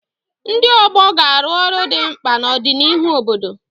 Ndị ọgbọ ga-arụ ọrụ dị mkpa na ọdịnihu obodo.